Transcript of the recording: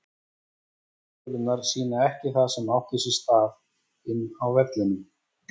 Lokatölurnar sýna ekki það sem átti sér stað inni á vellinum.